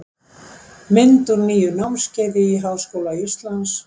mynd úr nýju námskeiði í háskóla íslands